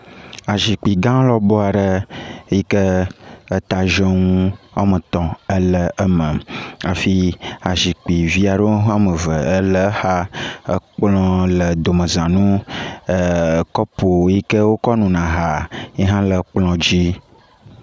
Anyinɔxɔ aɖe si ke me woɖo atsɔ na tɔxɛ eye akaɖiwo le eklem ɖe eme eye kapuwo le enu dzi le exɔ ƒe domedome.